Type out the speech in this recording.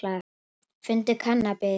Fundu kannabis